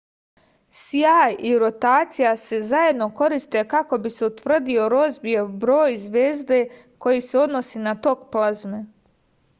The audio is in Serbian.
sjaj i rotacija se zajedno koriste kako bi se utvrdio rozbijev broj zvezde koji se odnosi na tok plazme